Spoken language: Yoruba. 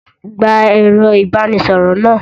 Gba ẹ̀rọ-ìbánisọ̀rọ̀ náà!